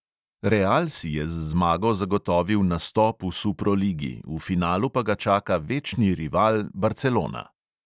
Real si je z zmago zagotovil nastop v suproligi, v finalu pa ga čaka večni rival barcelona.